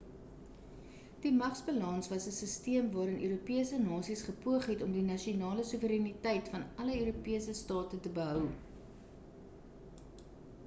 die magsbalans was 'n sisteem waarin europese nasies gepoog het om die nasionale soewereiniteit van alle europese state te behou